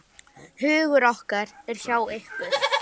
Hugur okkar er hjá ykkur.